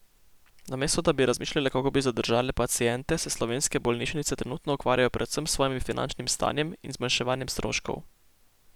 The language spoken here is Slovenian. Namesto da bi razmišljale, kako bi zadržale paciente, se slovenske bolnišnice trenutno ukvarjajo predvsem s svojim finančnim stanjem in zmanjševanjem stroškov.